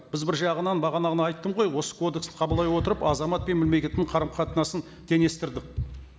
біз бір жағынан бағана ғана айттым ғой осы кодексті қабылдай отырып азамат пен мемлекеттің қарым қатынасын теңестірдік